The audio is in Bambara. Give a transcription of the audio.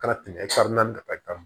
Kana tɛmɛ naani na ta kan